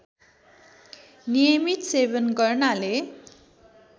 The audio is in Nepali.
नियमित सेवन गर्नाले